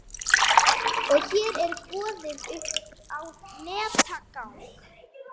Og hér er boðið upp á netaðgang.